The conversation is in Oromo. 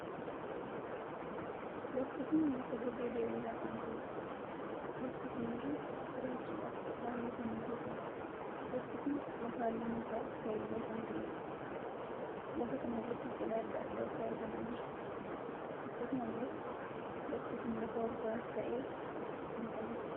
Lafti kun lafa dirree diriiraa kan ta`eedha. lafti kun irra jiraachuudhaaf baay'ee kan mijatuudha. lafti kun lafa halluun isaa keelloo kan ta`eedha. lafa kan irratti biqilaa addaa addaatu argamaa jira. akkasumallee lafti kun lafa olkaa'aas ta`e kan qabuudha.